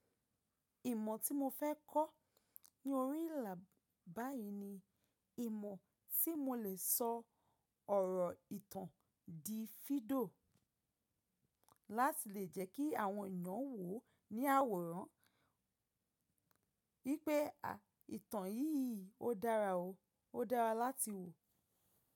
Ìmọ̀ tí mo fẹ́ kọ́ ní orí ìlà báyìí ni ìmọ̀ tí mo lè sọ ọ̀rọ̀ ìtàn di fídíò láti lè jẹ́ kí àwọn ìyàn wò ó ní àwòrán wípé ìtàn yìí ó dára o ó dára láti wò.